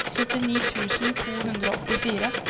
syttini tusen to hundre og åttifire